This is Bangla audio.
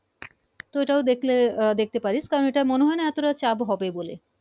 তো ওটা দেখলে আহ দেখতে পারিস তা আমার মনে হয় না এতটা চাপ হবে বলে